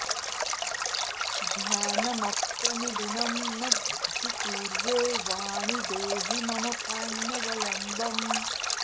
ध्यानमप्यनुदिनं न हि कुर्वे वाणि देहि मम पाण्यवलम्बम्